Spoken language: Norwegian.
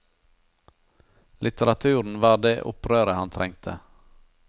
Litteraturen var det opprøret han trengte.